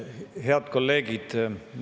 Head kolleegid!